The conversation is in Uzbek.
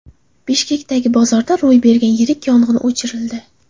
Bishkekdagi bozorda ro‘y bergan yirik yong‘in o‘chirildi.